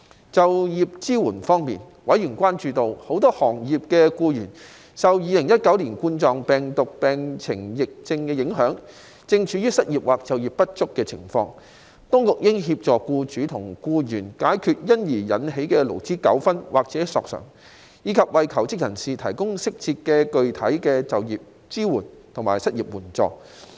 在就業支援方面，委員關注到，很多行業的僱員，受2019冠狀病毒病疫情影響，正處於失業或就業不足的情況，當局應協助僱主和僱員解決因而引起的勞資糾紛或索償，以及為求職人士提供適時及具體的就業支援和失業援助。